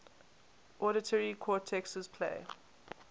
auditory cortexes play